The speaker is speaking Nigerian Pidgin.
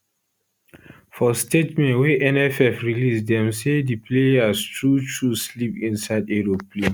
for statement wey nff release dem say di players truetrue sleep inside aeroplane